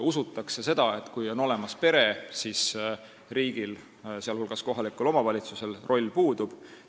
Usutakse, et kui on olemas pere, siis riigil ja kohalikul omavalitsusel roll puudub.